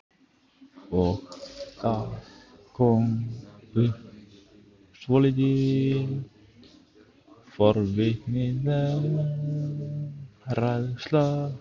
Og það kom upp svolítið forvitnileg færsla.